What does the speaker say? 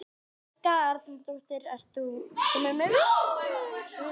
Hjörtur sagði að sama máli gegndi á Bessastöðum.